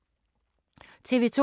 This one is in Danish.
TV 2